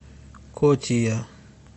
котия